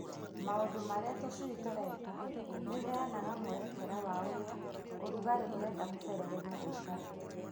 Maũndũ marĩa tũcui tũreka nĩũheanaga mwerekera wa ũrĩa ũrugarĩ ũrenda kũberegenywo ũikare.